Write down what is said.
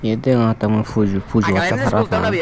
iyot degongotte mui pulo pujo otte parapang.